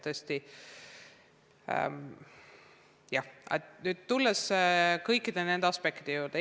Tuleme siis kõikide nende aspektide juurde.